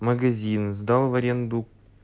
магазин сдал в аренду